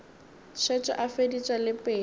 šetše a feditše le pelo